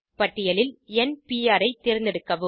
பட்டியலில் n PR ஐ தேர்ந்தெடுக்கவும்